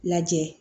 Lajɛ